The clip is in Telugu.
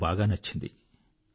అది నాకు బాగా నచ్చింది